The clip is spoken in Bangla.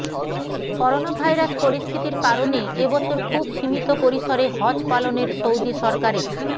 করোনাভাইরাস পরিস্থিতির কারণে এ বছর খুব সীমিত পরিসরে হজ পালনের সৌদি সরকারে